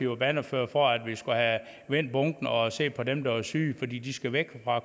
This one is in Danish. var bannerfører for at vi skulle have vendt bunken og set på dem der var syge fordi de skulle væk fra